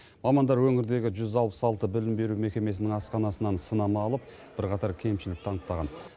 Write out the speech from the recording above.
мамандар өңірдегі жүз алпыс алты білім беру мекемесінің асханасынан сынама алып бірқатар кемшілікті анықтаған